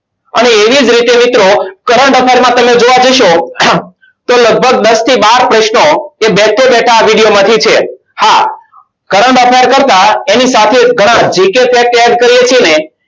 અને એવી જ રીતે મિત્રો current affair માં તમે જોવા જશો. તો લગભગ દસ થી બાર પ્રશ્નો એ બેઠે બેઠા આ video માંથી છે. હા current affair કરતા એની સાથે ઘણા gk set એડ કરીએ છીએ ને